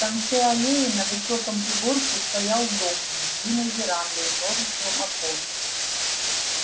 в конце аллеи на высоком пригорке стоял дом с длинной верандой и множеством окон